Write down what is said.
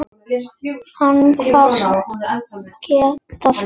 Hún kvaðst geta það.